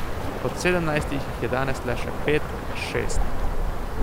Od sedemnajstih jih je danes le še pet, šest.